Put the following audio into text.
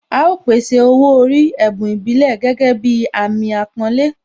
A ó pèsè Owó orí, ẹ̀bùn ìbílẹ̀ gẹ́gẹ́ bí Àmín àpọ́nlé